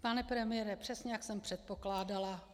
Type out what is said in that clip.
Pane premiére, přesně jak jsem předpokládala.